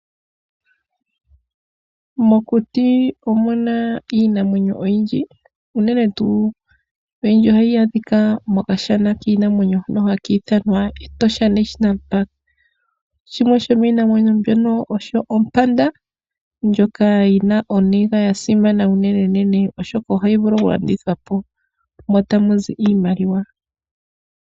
Mokuti omuna iinamwenyo oyindji unene tu oyindji ohayadhika mokashana kinamwenyo hono hakithanwa Etosha National Park, shimwe shominamwenyo mbyono osho Opanda ndjoka yina oninga yasimana unene nene oshoka ohayi vulu okulandithwapo mo tamuzi iimaliwa.